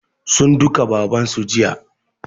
Sun duka baban su jiya